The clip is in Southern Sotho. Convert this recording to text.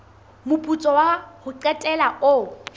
moputso wa ho qetela o